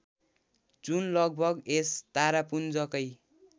जुन लगभग यस तारापुञ्जकै